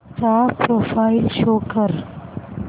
चा profile show कर